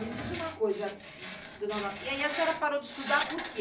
Me diz uma coisa, dona Auro, e aí a senhora parou de estudar por quê?